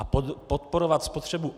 A podporovat spotřebu?